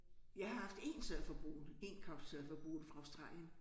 Jeg har haft 1 surfer boende 1 couch surfer boende fra Australien